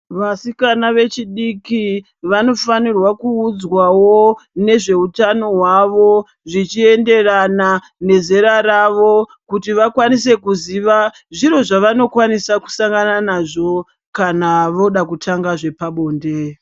Vasikana vechidiki vanofanirwa kuudzwawo nezveutano hwavo, zvichienderana nezera ravo kuti vakwanise kuziva zviro zvavanokwanisa kusangana nazvo kana voda kutanga zvepabonde.